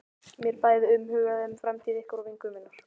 Mér er bæði umhugað um framtíð ykkar og vinkonu minnar.